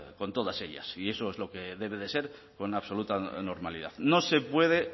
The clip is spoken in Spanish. con todas ellas y eso es lo que debe de ser con absoluta normalidad no se puede